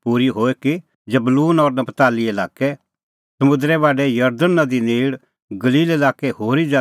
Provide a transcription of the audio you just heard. ज़बलून और नप्तालीए लाक्कै समुंदरे बाढै जरदण नदी नेल़ गलील लाक्कै होरी ज़ातीए लोग